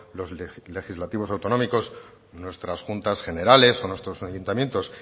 los legislativos autonómicos nuestras juntas generales o nuestros ayuntamientos